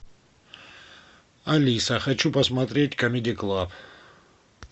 алиса хочу посмотреть камеди клаб